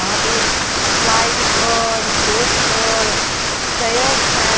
वहां पे स्लाइडस और स्लोपस और स्टेयर्स हैं।